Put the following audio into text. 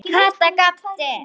Kata gapti.